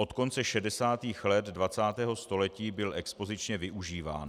Od konce 60. let 20. století byl expozičně využíván.